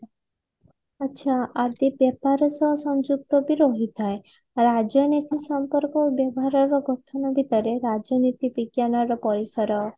ଆଛା ଆର୍ଥିକ ବ୍ୟାପାର ସହ ସଂଯୁକ୍ତ ବି ରହିଥାଏ ରାଜନୀତି ସମ୍ପର୍କ ଓ ବ୍ୟବହାରର ଗଠନ ଭିତରେ ରାଜନୀତି ବିଜ୍ଞାନ ର ପରିସର